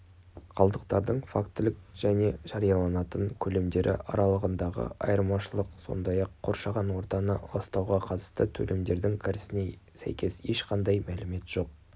қалдықтардың фактілік және жарияланатын көлемдері аралығындағы айырмашылық сондай-ақ қоршаған ортаны ластауға қатысты төлемдердің кірісіне сәйкес ешқандай мәлімет жоқ